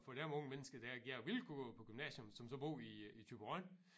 For dem unge mennesker der gerne vil gå på gymnasium som så bor i i Thyborøn